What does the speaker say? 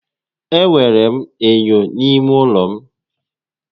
E nwèrè m ènyò n'ímé ụlọ m